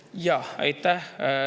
Jah, aitäh!